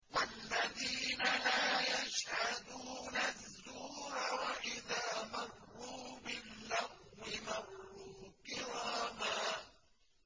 وَالَّذِينَ لَا يَشْهَدُونَ الزُّورَ وَإِذَا مَرُّوا بِاللَّغْوِ مَرُّوا كِرَامًا